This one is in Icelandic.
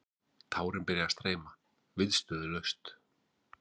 Tárin byrja að streyma, viðstöðulaust.